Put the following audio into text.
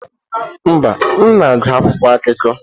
Mba, m na-agụ akwụkwọ akụkọ.